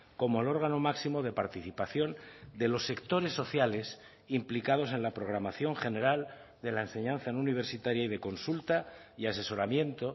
como el órgano máximo de participación de los sectores sociales implicados en la programación general de la enseñanza no universitaria y de consulta y asesoramiento